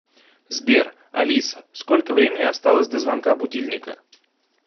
сбер алиса сколько времени осталось до звонка будильника